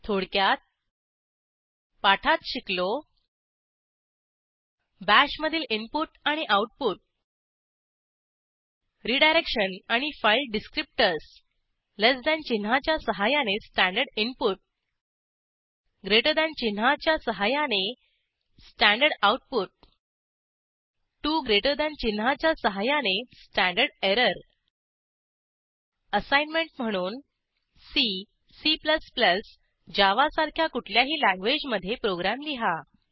थोडक्यात पाठात शिकलो बाश मधील इनपुट आणि आऊटपुट रिडायरेक्शन आणि फाईल डिस्क्रीप्टर्स ltचिन्हाच्या सहाय्याने स्टँडर्ड इनपुट जीटी चिन्हाच्या सहाय्याने स्टँडर्ड आऊटपुट 2जीटी 2 ग्रेटर दॅन चिन्हाच्या सहाय्याने स्टँडर्ड एरर असाईनमेंट म्हणून सी C जावा सारख्या कुठल्याही लँग्वेजमधे प्रोग्रॅम लिहा